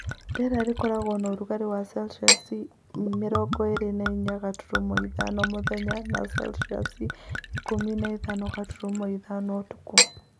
Rĩera rĩkoragwo na ũrugarĩ wa Celsius mĩrongo ĩrĩ na inya gaturumo ithano mũthenya na Celsiusikũmi na ithano gaturumo ithano ũtukũ